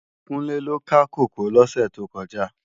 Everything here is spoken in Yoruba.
Kunle lò ká kókòó lòsè tókòjá